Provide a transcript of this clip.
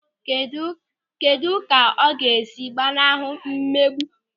Kedụ ka ọ ga-esi gbanahụ mmegbu?